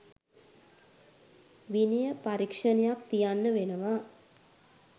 විනය පරීක්‍ෂණයක් තියන්න වෙනවා.